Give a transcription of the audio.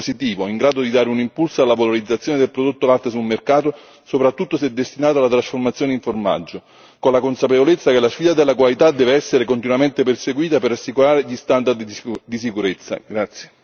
Ritengo che il testo che voteremo domani sia un testo positivo in grado di dare un impulso alla valorizzazione del prodotto latte sul mercato, soprattutto se destinato alla trasformazione in formaggio, con la consapevolezza che la sfida della qualità deve essere continuamente perseguita per assicurare gli standard di sicurezza.